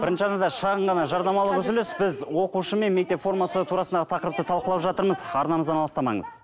бірінші арнада шағын ғана жарнамалық үзіліс біз оқушы мен мектеп формасы турасындағы тақырыпты талқылап жатырмыз арнамыздан алыстамаңыз